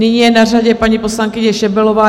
Nyní je na řadě paní poslankyně Šebelová.